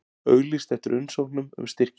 Auglýst eftir umsóknum um styrki